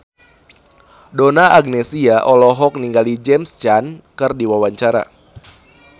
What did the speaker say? Donna Agnesia olohok ningali James Caan keur diwawancara